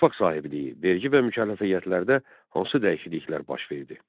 Torpaq sahibliyi, vergi və mükəlləfiyyətlərdə hansı dəyişikliklər baş verdi?